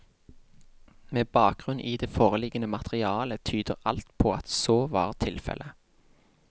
Med bakgrunn i det foreliggende materiale tyder alt på at så var tilfelle.